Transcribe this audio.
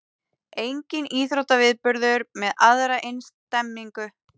Enginn íþróttaviðburður með aðra eins stemningu